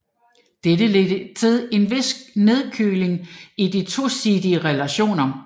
Dette ledte til en vis nedkøling i de tosidige relationer